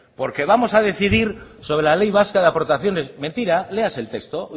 porque vamos a decidir sobre la ley vasca de aportaciones mentira léase el texto